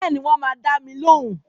Bẹ́ẹ̀ni, wọ́n máa dá mi lóhùn